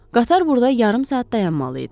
Qatar burada yarım saat dayanmalı idi.